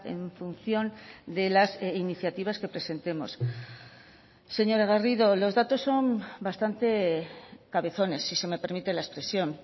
en función de las iniciativas que presentemos señora garrido los datos son bastante cabezones si se me permite la expresión